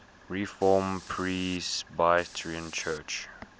reformed presbyterian church